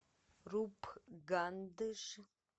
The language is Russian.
рупгандж